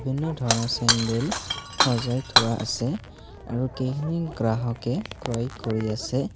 বিভিন্ন ধৰণৰ চেণ্ডেল সজাই থোৱা আছে আৰু কেই গ্ৰাহকে ক্ৰয় কৰি আছে।